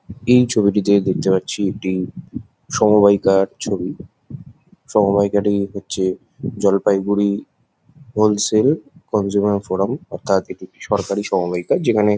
এত ছবিটিতে দেখতে পাচ্ছি একটি সমবাইকার ছবি সমবায়িকাটি হচ্ছে জলপাইগুড়ি হোলসেল কোনজঙ্গা ফোরাম অথাৎ এটি সরকারি সমবাইকা যেখানে--